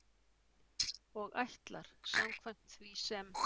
Og ætlar, samkvæmt því sem